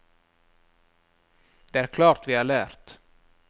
Det er klart vi har lært.